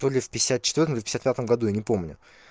то ли в пятьдесят четвёртом в пятьдесят пятом году я не помню